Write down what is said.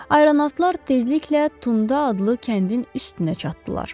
Aeronatlar tezliklə Tunda adlı kəndin üstünə çatdılar.